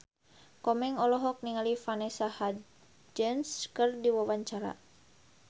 Komeng olohok ningali Vanessa Hudgens keur diwawancara